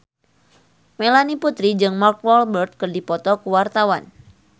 Melanie Putri jeung Mark Walberg keur dipoto ku wartawan